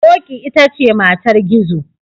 Ƙoƙi ita ce matar Gizo.